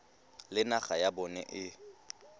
le naga ya bona e